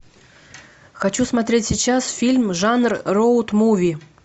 хочу смотреть сейчас фильм жанр роуд муви